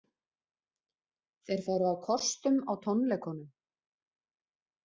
Þeir fóru á kostum á tónleikunum